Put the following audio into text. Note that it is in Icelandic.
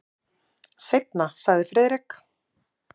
Seinna sagði Friðrik.